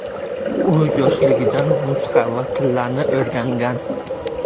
U yoshligidan musiqa va tillarni o‘rgangan.